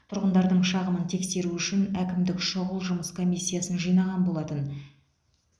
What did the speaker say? тұрғындардың шағымын тексеру үшін әкімдік шұғыл жұмыс комиссиясын жинаған болатын